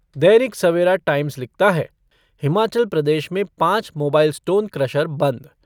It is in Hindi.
दैनिक सवेरा टाइम्स लिखता है हिमाचल प्रदेश में पाँच मोबाइल स्टोन क्रशर बंद